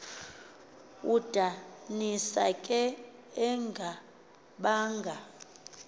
udanisa ke engabanga